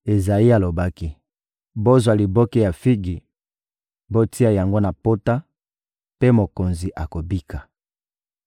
Ezayi alobaki: — Bozwa liboke ya figi, botia yango na pota; mpe mokonzi akobika.